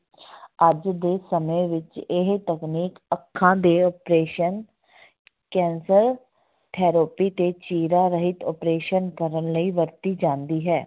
ਅੱਜ ਦੇ ਸਮੇਂ ਵਿੱਚ ਇਹ ਤਕਨੀਕ ਅੱਖਾਂ ਦੇ operation ਕੈਂਸਰ, ਥੈਰੋਪੀ ਤੇ ਚੀਰਾ ਰਹਿਤ operation ਕਰਨ ਲਈ ਵਰਤੀ ਜਾਂਦੀ ਹੈ।